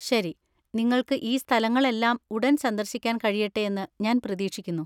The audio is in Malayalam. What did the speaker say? ശരി, നിങ്ങൾക്ക് ഈ സ്ഥലങ്ങളെല്ലാം ഉടൻ സന്ദർശിക്കാൻ കഴിയട്ടെ എന്ന് ഞാൻ പ്രതീക്ഷിക്കുന്നു.